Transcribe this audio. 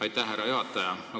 Aitäh, härra juhataja!